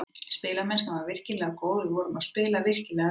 Spilamennskan var virkilega góð og við vorum að spila virkilega vel.